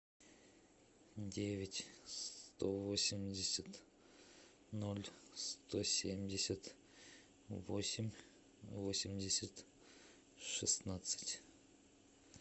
девять сто восемьдесят ноль сто семьдесят восемь восемьдесят шестнадцать